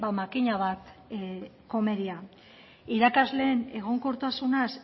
makina bat komeria irakasleen egonkortasunaz